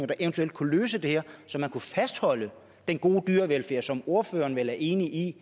der eventuelt kunne løse det her så man kunne fastholde den gode dyrevelfærd som ordføreren vel er enig i